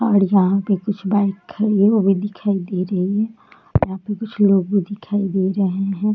यहाँ पे कुछ बाइक खड़े हुए दिखाई दे रहे हैं यहाँ पे कुछ लोग दिखाई दे रहे हैं।